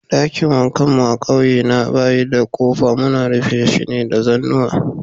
Dakin wankan mu a'ƙauye na bayi da kofa, muna rufe shi da zanuwa.